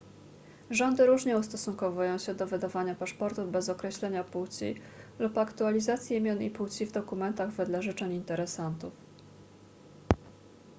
rządy różnie ustosunkowują się do wydawania paszportów bez określenia płci x lub aktualizacji imion i płci w dokumentach wedle życzeń interesantów